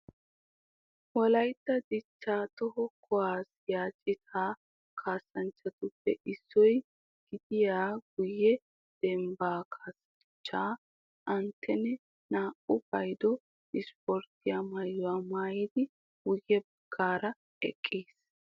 Wolaytta dichchaa toho kuwaasiya citaa kaassanchchatuppe issuwa gidiya guyye dembbaa kaassanchchaa Antteenee naa''u paydo ispporttiya maayuwa maayidi guyye baggaara eqqiis